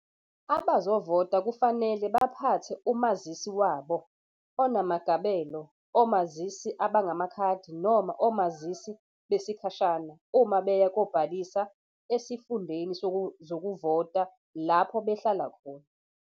Abazovota kufanele baphathe umazisi wabo onamagabelo, omazisi abangamakhadi noma omazisi besikhashana uma beya kobhalisa esifundeni zokuvota lapho behlala khona.